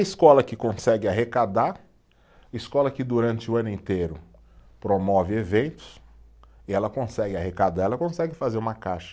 Escola que consegue arrecadar, escola que durante o ano inteiro promove eventos, e ela consegue arrecadar, ela consegue fazer uma caixa.